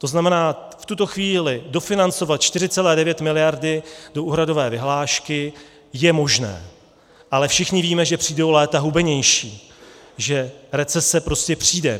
To znamená, v tuto chvíli dofinancovat 4,9 miliardy do úhradové vyhlášky je možné, ale všichni víme, že přijdou léta hubenější, že recese prostě přijde.